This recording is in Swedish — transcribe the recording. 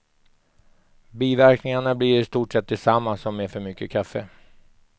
Biverkningarna blir i stort sett desamma som med för mycket kaffe.